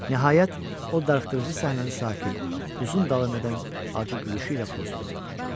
Nəhayət, o darıxdırıcı səhnəni sakit, uzun davam edən acı gülüşü ilə pozdu.